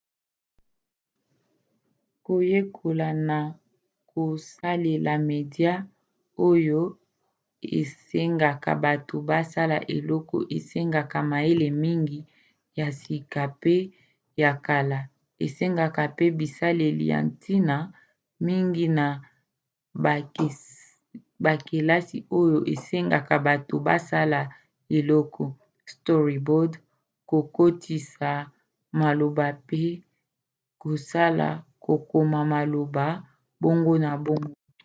koyekola na kosalela media oyo esengaka bato basala eloko esengaka mayele mingi ya sika pe ya kala esengeka mpe bisaleli ya ntina mingi na bakelasi oyo esengaka bato basala eloko storyboard kokotisa malaoba mpe kosala kokoma malaoba bongo na bongo